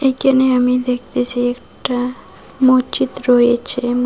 এইকানে আমি দেখতেছি একটা মজ্জিদ রয়েছে ম --